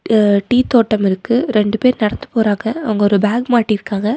அ tea தோட்டம் இருக்கு ரெண்டு பேர் நடந்து போறாங்க அவங்க ஒரு பேக் மாட்டிருக்காங்க.